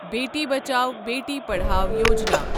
Beti Bachao, Beti Padhao Yojana